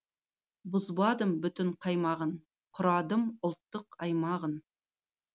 бұзбадым бүтін қаймағын құрадым ұлттық аймағын